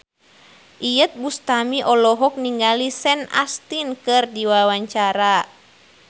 Iyeth Bustami olohok ningali Sean Astin keur diwawancara